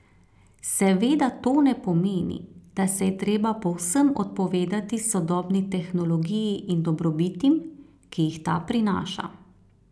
Seveda to ne pomeni, da se je treba povsem odpovedati sodobni tehnologiji in dobrobitim, ki jih ta prinaša.